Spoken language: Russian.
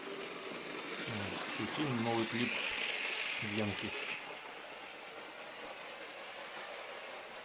включи новый клип бьянки